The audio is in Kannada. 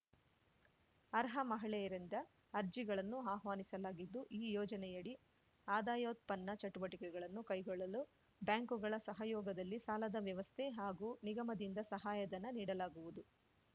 ಅರ್ಹ ಮಹಿಳೆಯರಿಂದ ಅರ್ಜಿಗಳನ್ನು ಆಹ್ವಾನಿಸಲಾಗಿದ್ದು ಈ ಯೋಜನೆಯಡಿ ಆದಾಯೋತ್ಪನ್ನ ಚಟುವಟಿಕೆಗಳನ್ನು ಕೈಗೊಳ್ಳಲು ಬ್ಯಾಂಕುಗಳ ಸಹಯೋಗದಲ್ಲಿ ಸಾಲದ ವ್ಯವಸ್ಥೆ ಹಾಗೂ ನಿಗಮದಿಂದ ಸಹಾಯಧನ ನೀಡಲಾಗುವುದು